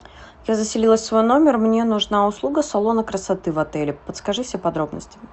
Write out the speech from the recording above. я заселилась в свой номер мне нужна услуга салона красоты в отеле подскажи все подробности